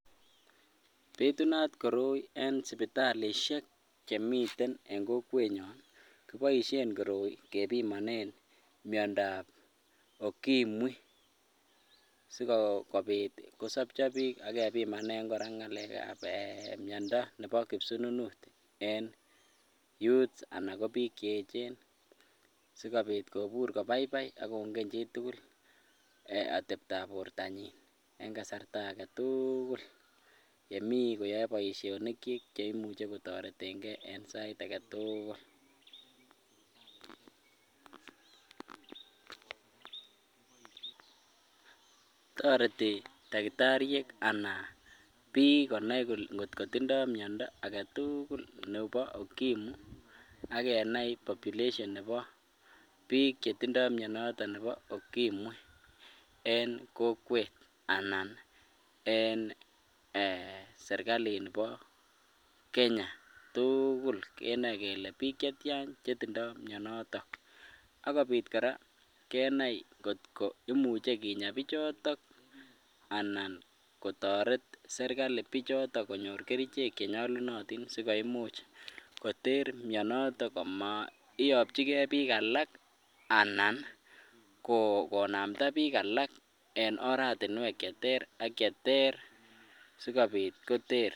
Bitunat koroin en sipitalishek chemiten en kokwet nyoon, kipoishen koroi kepimonen myondo ab okimwi sigopiit kosopcho biik ak kebimanen kora ngaleek ab um myondo nepo kipsunut en youths anan ko piik cheechen si kobiit kobur kobaibai ak kongen chitugul otebtaab portonyin en kasarta agetuugul yemii koyoe boisionik chik cheimuche kotoretengee en sait agetugul toreti takitariek anan piik konai kot kotindoo myondo agetugul nebo okimwi ak kenai population nebo piik chetindoo myonoton nebo okimwi en kokwet anan en um serikalit nibo kenya tuugul kenoe kele piik chetyaan chetindoo myonoton ak kobiit kora kenai kot imuche kiinyaa pichotok anan kotoret serkali pichotok konyoor kerichek chenyolunotin sigoimuch koteer myonotok komaiyokyigee piik alak anan konamda piik alak en oratinwek cheterr ak cheterr sigobiit koter